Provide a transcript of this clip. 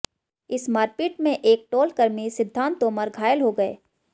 इस मारपीट में एक टोलकर्मी सिद्धांत तोमर घायल हो गए